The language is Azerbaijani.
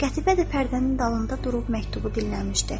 Qətibə də pərdənin dalında durub məktubu dinləmişdi.